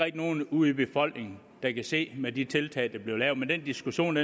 ikke nogen ude i befolkning der kan se med de tiltag der bliver lavet men den diskussion